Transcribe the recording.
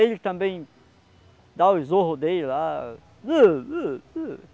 Ele também dá o zorro dele lá.